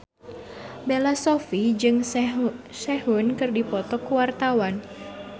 Bella Shofie jeung Sehun keur dipoto ku wartawan